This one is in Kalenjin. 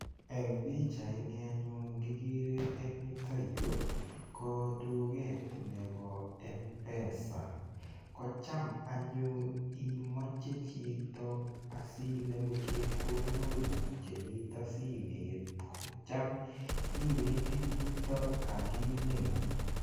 Eng' pikchaini anyun kikere eng' yutoyu ko tuget nebo mpesa kocham anyun imoche chito asiinemu chepkondok kuk chemito simet kocham iwendi yutok akinemu